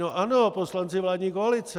No ano, poslanci vládní koalice!